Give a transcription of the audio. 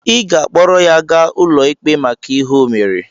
Ị ga-akpọrọ ya gaa n'ụlọ ikpe maka ihe o mere!